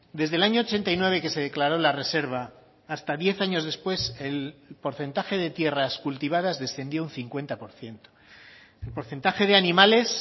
desde el año ochenta y nueve que se declaró la reserva hasta diez años después el porcentaje de tierras cultivadas descendió un cincuenta por ciento el porcentaje de animales